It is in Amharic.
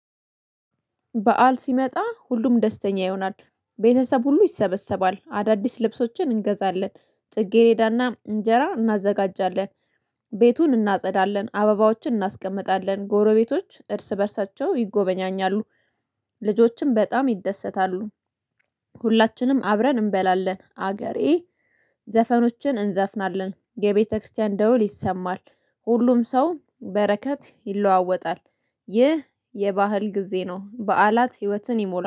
በዓል ሲመጣ ሁሉም ደስተኛ ይሆናል። ቤተሰብ ሁሉ ይሰበሰባል አዳዲስ ልብሶችን እንገዛለን። ጽጌሬዳና እንጀራ እናዘጋጃለን። ቤቱን እናጸዳለን አበባዎችን እናስቀምጣለን ጎረቤቶች እርስ በእርሳቸው ይጎበኛኛሉ። ልጆችም በጣም ይደሰታሉ። ሁላችንም አብረን እንበላለን። አገሬ ዘፈኖችን እንዘፍናለን የቤተክርስቲያን ደውል ይሰማል። ሁሉም ሰው በረከት ይለዋወጣል። ይህ የባዓል ጊዜ ነው። በዓላት ህይወትን ይሞላል